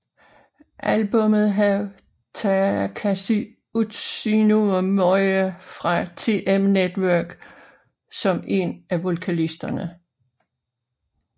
Albummet havde Takashi Utsunomiya fra TM Network som en af vokalisterne